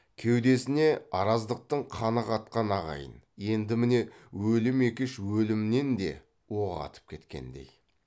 кеудесіне араздықтың қаны қатқан ағайын енді міне өлім екеш өлімімен де оқ атып кеткендей